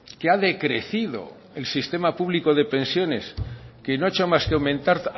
que ha decrecido el sistema público de pensiones que no ha hecho más que aumentar